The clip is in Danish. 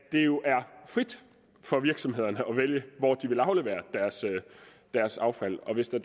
frit for virksomhederne hvor de vil aflevere deres affald hvis det